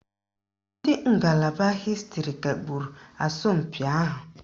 Ndị ngalaba hịstịrị kagburu asọmpi ahụ